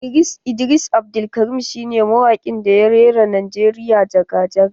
Idris Abdulkarim shine mawaƙin da ya rera Najeriya jaga jaga.